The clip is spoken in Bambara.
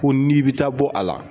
Ko n'i bɛ taa bɔ a la.